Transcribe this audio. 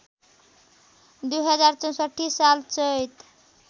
२०६४ साल चैत